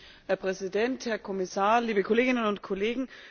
Herr Präsident, Herr Kommissar, liebe Kolleginnen und Kollegen!